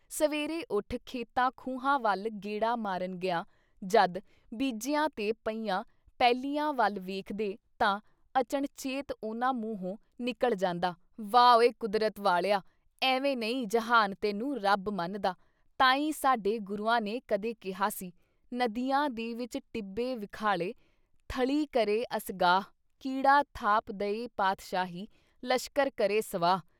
ਸਵੇਰੇ ਉੱਠ ਖੇਤਾਂ ਖੂਹਾਂ ਵੱਲ ਗੇੜਾ ਮਾਰਨ ਗਿਆਂ ਜਦ ਬੀਜੀਆਂ ਤੇ ਪਈਆਂ ਪੈਲੀਆਂ ਵੱਲ ਵੇਖਦੇ ਤਾਂ ਅਚਣਚੇਤ ਉਨ੍ਹਾਂ ਮੂੰਹੋ ਨਿਕਲ ਜਾਂਦਾ -ਵਾਹ ਉਏ ਕੁਦਰਤ ਵਾਲਿਆ ਐਵੇਂ ਨਹੀਂ ਜਹਾਨ ਤੈਨੂੰ ਰੱਬ ਮੰਨਦਾ ਤਾਂ ਈ ਸਾਡੇ ਗੁਰੂਆਂ ਨੇ ਕਦੇ ਕਿਹਾ ਸੀ- ਨਦੀਆਂ ਦੇ ਵਿਚ ਟਿੱਬੇ ਵਿਖਾਲੇ, ਥਲੀਂ ਕਰੇ ਅਸਗਾਹ/ਕੀੜਾ ਥਾਪ ਦਏਂ ਪਾਤਸ਼ਾਹੀ ਲਸ਼ਕਰ ਕਰੇ ਸਵਾਹ।